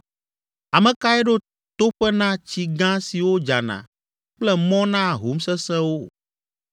Ame kae ɖo toƒe na tsi gã siwo dzana kple mɔ na ahom sesẽwo,